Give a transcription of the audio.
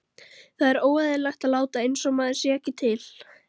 Það er óeðlilegt að láta einsog maður sé ekki til.